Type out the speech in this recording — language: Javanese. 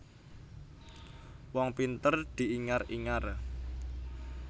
Wong pinter diingar ingar